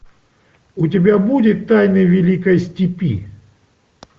у тебя будет тайны великой степи